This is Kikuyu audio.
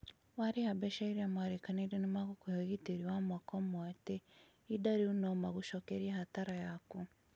warĩha mbeca iria mwarikanire nĩ magũkũhe ugitiri wa mwaka omwe atĩ İhinda rĩũ no magũcokerĩe hasara yaku.